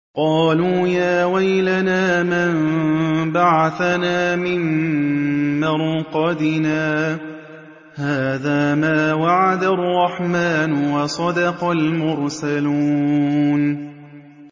قَالُوا يَا وَيْلَنَا مَن بَعَثَنَا مِن مَّرْقَدِنَا ۜۗ هَٰذَا مَا وَعَدَ الرَّحْمَٰنُ وَصَدَقَ الْمُرْسَلُونَ